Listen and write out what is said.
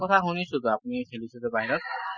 কথা শুনিছোঁ টো। আপুনি খেলিছে যে বাহিৰত